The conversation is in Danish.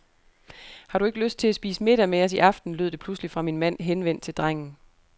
Har du ikke lyst til at spise middag med os i aften, lød det pludselig fra min mand henvendt til drengen.